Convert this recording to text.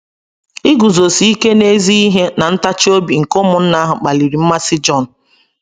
Iguzosi ike n’ezi ihe na ntachi obi nke ụmụnna ahụ kpaliri mmasị Jon